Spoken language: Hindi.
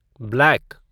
ब्लैक